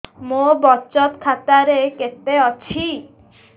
ମୋ ବଚତ ଖାତା ରେ କେତେ ଅଛି